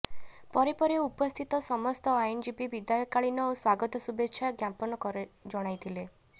ପରେ ପରେ ଉପସ୍ଥିତ ସମସ୍ତ ଆଇନ୍ ଜୀବି ବିଦାୟକାଳୀନ ଓ ସ୍ୱାଗତ ଶୁଭେଚ୍ଛା ଜ୍ଞାପନ ଜଣାଇଥିଲେ